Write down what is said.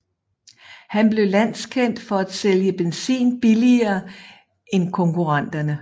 Han blev landskendt for at sælge benzin billigere end konkurrenterne